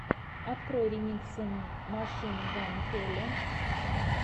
открой ремиксы машин ган келли